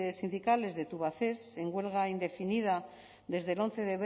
sindicales de tubacex en huelga indefinida desde el once